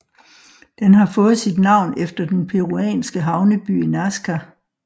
Den har fået sit navn efter den peruanske havneby Nazca